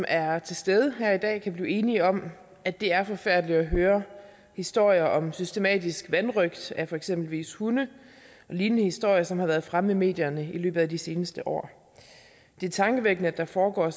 er til stede her i dag kan blive enige om at det er forfærdeligt at høre historier om systematisk vanrøgt af for eksempel hunde og lignende historier som har været fremme i medierne i løbet af de seneste år det er tankevækkende at der foregår